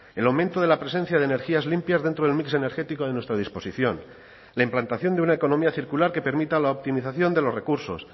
el aumento de la presencia de energías limpias dentro del mix energético de nuestra disposición la implantación de una economía circular que permita la optimización de los recursos